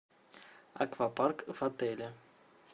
аквапарк в отеле